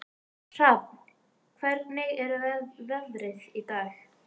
Hrafn, hvernig er veðrið í dag?